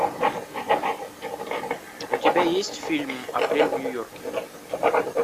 у тебя есть фильм апрель в нью йорке